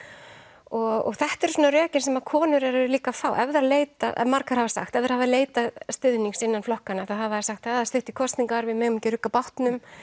og þetta eru svona rökin sem að konur eru líka að fá ef þær leita margar hafa sagt ef þær hafa leitað stuðnings innan flokkanna þá hafa þeir sagt það er stutt í kosningar við megum ekki rugga bátnum